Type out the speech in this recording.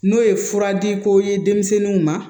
N'o ye fura di ko ye denmisɛnninw ma